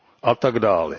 A tak dále.